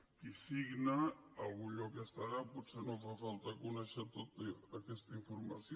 qui signa en algun lloc deu estar potser no fa falta conèixer tota aquesta informació